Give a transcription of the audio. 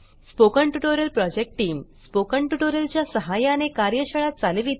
spoken tutorial project team spoken tutorial च्या सहाय्याने कार्यशाळा चालविते